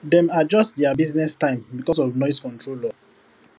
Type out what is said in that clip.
dem adjust their business time because of noise control law